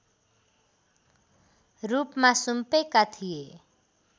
रूपमा सुम्पेका थिए